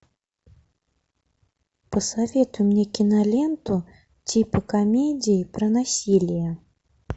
посоветуй мне киноленту типа комедии про насилие